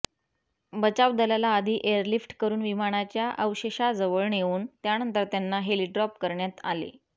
बचाव दलाला आधी एअरलिफ्ट करुन विमानाच्या अवशेषाजवळ नेऊन त्यानंतर त्यांना हेलिड्रॉप करण्यात आले